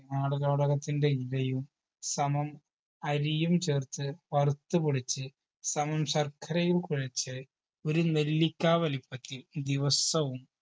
ആടലോടകത്തിൻറെ ഇലയും സമം അരിയും ചേർത്ത് വറുത്ത് പൊടിച്ച് സമം ശർക്കരയും കുഴച്ച് ഒരു നെല്ലിക്കാ വലിപ്പത്തിൽ ദിവസ്സവും